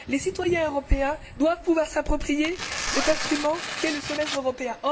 Les citoyens européens doivent pouvoir s'approprier cet instrument qu'est le semestre européen.